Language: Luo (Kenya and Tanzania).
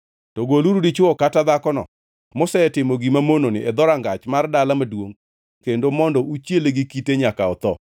to goluru dichwono kata dhakono mosetimo gima mononi e dhorangach mar dala maduongʼ kendo mondo uchiele gi kite nyaka otho.